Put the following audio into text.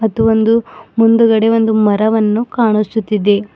ಇದು ಒಂದು ಮುಂದ್ಗಡೆ ಒಂದು ಮರವನ್ನು ಕಾಣಿಸುತ್ತಿದೆ.